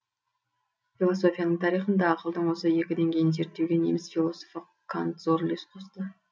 философияның тарихында ақылдың осы екі деңгейін зерттеуге неміс философы кант зор үлес қосты